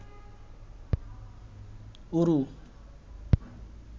ঊরু